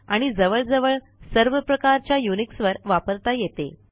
आणि जवळजवळ सर्वप्रकारच्या युनिक्सवर वापरता येते